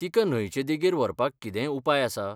तिका न्हंयचे देगेर व्हरपाक कितेंय उपाय आसा?